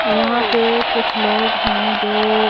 यहां पे कुछ लोग हैं जो--